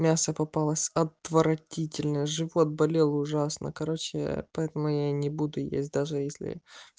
мясо попалась отвратительное живот болел ужасно короче поэтому я не буду есть даже если